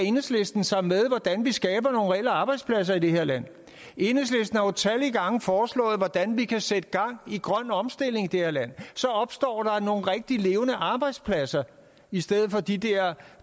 enhedslisten sig med hvordan vi skaber nogle reelle arbejdspladser i det her land enhedslisten har utallige gange foreslået hvordan vi kan sætte gang i grøn omstilling i det her land så opstår der nogle rigtige levende arbejdspladser i stedet for de der